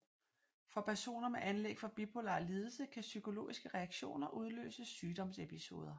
For personer med anlæg for bipolar lidelse kan psykologiske reaktioner udløse sygdomsepisoder